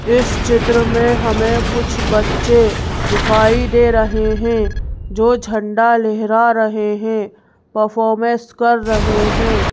इस चित्र में हमें कुछ बच्चे दिखाई दे रहे हैं जो झंडा लेहरा रहे हैं परफॉर्मेंस कर रहे हैं।